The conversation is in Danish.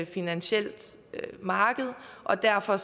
finansielt marked og derfor